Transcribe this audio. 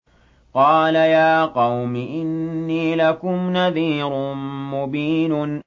قَالَ يَا قَوْمِ إِنِّي لَكُمْ نَذِيرٌ مُّبِينٌ